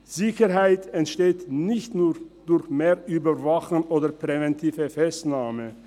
Sicherheit entsteht nicht nur durch mehr Überwachung oder präventive Festnahmen.